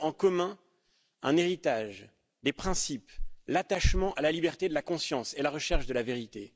Nous avons en commun un héritage, des principes, l'attachement à la liberté de conscience et à la recherche de la vérité.